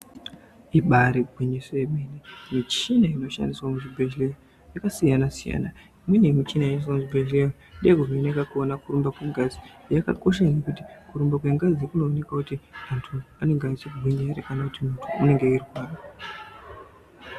Ibari gwinyiso remene mushini inoshandiswa muzvibhedhlera yakasiyana siyana imweni michini inoshandiswa muzvibhedhlera ndeye kuvheneka kuona kuti kurumba kwengazi kunoonekwa kuti antu anenge akagwinya ere kana kuti muntu anenge eirwara.